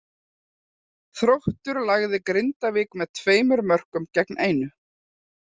Þróttur lagði Grindavík með tveimur mörkum gegn einu.